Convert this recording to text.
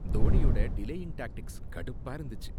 தோனியோட delaying tactics கடுப்பா இருந்துச்சு.